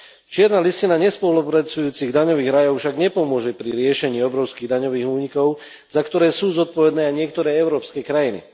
Čierna listina nespolupracujúcich daňových rajov však nepomôže pri riešení obrovských daňových únikov, za ktoré sú zodpovedné aj niektoré európske krajiny.